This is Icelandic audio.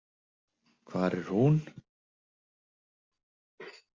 Hvar er hún?